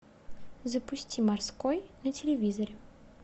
запусти морской на телевизоре